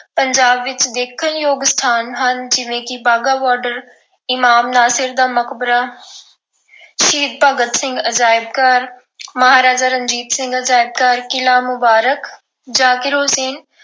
ਪੰਜਾਬ ਵਿੱਚ ਦੇਖਣਯੋਗ ਸਥਾਨ ਹਨ ਜਿਵੇਂ ਕਿ ਵਾਹਗਾ border ਇਮਾਮ ਨਾਸਿਰ ਦਾ ਮਕਬਰਾ ਸ਼ਹੀਦ ਭਗਤ ਸਿੰਘ ਅਜਾਇਬ ਘਰ, ਮਹਾਰਾਜਾ ਰਣਜੀਤ ਸਿੰਘ ਅਜਾਇਬ ਘਰ, ਕਿਲ੍ਹਾ ਮੁਬਾਰਕ ਜ਼ਾਕਿਰ ਹੁਸੈਨ